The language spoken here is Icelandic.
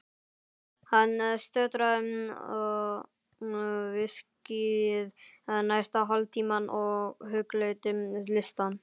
Hann sötraði viskíið næsta hálftímann og hugleiddi listann.